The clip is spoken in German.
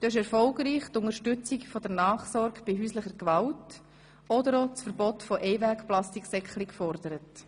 Du hast erfolgreich die Unterstützung der Nachsorge bei häuslicher Gewalt oder auch das Verbot von EinwegPlastiksäcklein gefordert.